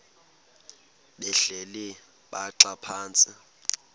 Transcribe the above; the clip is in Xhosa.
behleli bhaxa phantsi